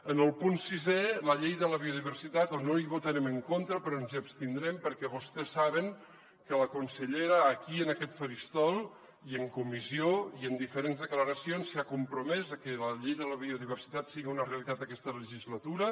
en el punt sisè la llei de la biodiversitat on no votarem en contra però ens hi abstindrem perquè vostès saben que la consellera aquí en aquest faristol i en comissió i en diferents declaracions s’ha compromès a que la llei de la biodiversitat sigui una realitat aquesta legislatura